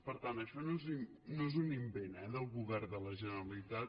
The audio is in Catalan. per tant això no és un invent eh del govern de la generalitat